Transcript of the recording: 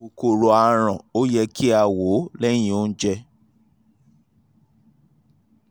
kòkòrò aràn ó yẹ kí a wò ó lẹ́yìn oúnjẹ